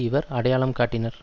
இவர் அடையாளம் காட்டினர்